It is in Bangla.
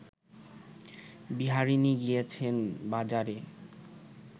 বিহারিণী গিয়েছেন বাজারে